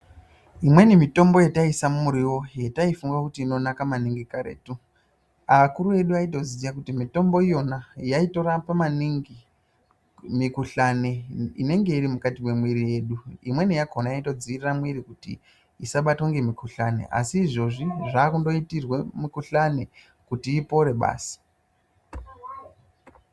Imweni mitombo yataiisa umuriwo yataifunga kuti inonaka maningi karetu akuru edu aitoziya mitombo iyona yaitorapa maningi mikhuhlani inenge iri mukati memwiri yedu, imweni yakhona yaitodziirira mwiri yedu isabatwe ngemikhuhlani asi izvezvi zvaakungoitirwa kuti mikhuhlani ipore basi.